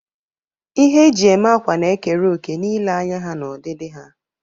Ihe eji eme akwa na-ekere òkè na ilee anya ha na ọdịdị ha.